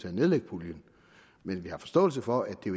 at nedlægge puljen men vi har forståelse for at det